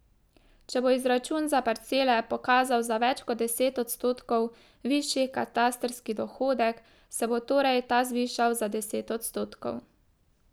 Če bo izračun za parcele pokazal za več kot deset odstotkov višji katastrski dohodek, se bo torej ta zvišal za deset odstotkov.